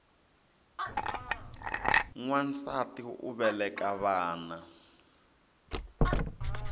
nwansati u veleka vana